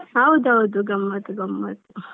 ಹೌದೌದು ಗಮ್ಮತ್ ಗಮ್ಮತ್.